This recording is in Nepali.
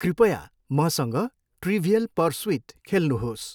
कृपया मसँग ट्रिभियल पर्सुइट खेल्नुहोस्।